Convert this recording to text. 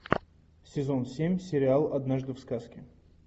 сезон семь сериал однажды в сказке